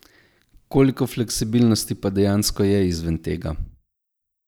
Koliko fleksibilnosti pa dejansko je izven tega?